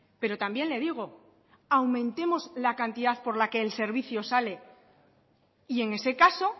pero también le digo aumentemos la cantidad por la que el servicio sale y en ese caso